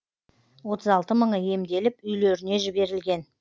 отыз алты мыңы емделіп үйлеріне жіберілген